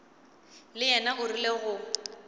le yena o rile go